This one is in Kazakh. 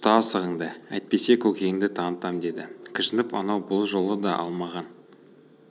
ұста асығыңды әйтпесе көкеңді танытам деді кіжініп анау бұл жолы да алмаған